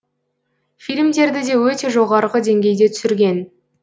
фильмдерді де өте жоғарғы деңгейде түсірген